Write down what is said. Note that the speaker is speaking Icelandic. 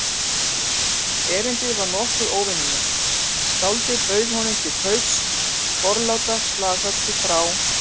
Erindið var nokkuð óvenjulegt: Skáldið bauð honum til kaups forláta slaghörpu frá